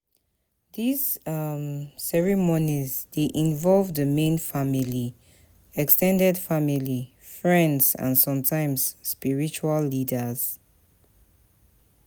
These um ceremonies um dey involve di main family, ex ten ded family, friends and sometimes spiritual leaders